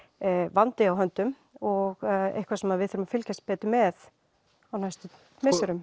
vandi á höndum og eitthvað sem við verðum að fylgjast betur með á næstu misserum